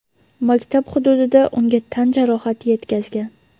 maktab hududida unga tan jarohati yetkazgan.